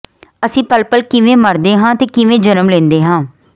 ਅਸੀਂ ਪਲ ਪਲ ਕਿਵੇਂ ਮਰਦੇ ਹਾਂ ਤੇ ਕਿਵੇਂ ਜਨਮ ਲੈਂਦੇ ਹਾਂ